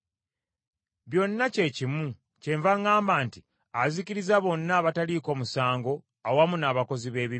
Byonna kye kimu, kyenva ŋŋamba nti, Azikiriza bonna abataliiko musango awamu n’abakozi b’ebibi.